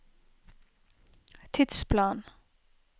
tidsplan